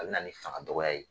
A bi na ni fanga dɔgɔya ye.